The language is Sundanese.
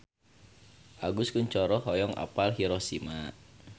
Agus Kuncoro hoyong apal Hiroshima